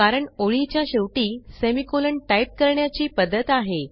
कारण ओळीच्या शेवटी सेमिकोलॉन टाईप करण्याची पध्दत आहे